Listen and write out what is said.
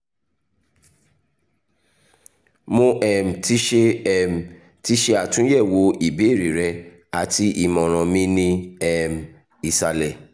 mo um ti ṣe um ti ṣe atunyẹwo ibeere rẹ ati imọran mi ni um isalẹ